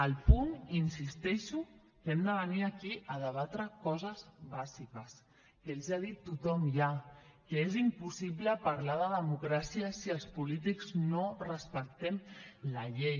al punt hi insisteixo que hem de venir aquí a debatre coses bàsiques que els hi ha dit tothom ja que és impossible parlar de democràcia si els polítics no respectem la llei